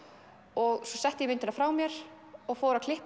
og svo setti ég myndina frá mér og fór að klippa